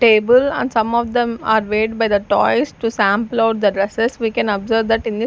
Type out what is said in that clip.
table and some of them are weighed by the toys to sample out the dresses we can observe that in the --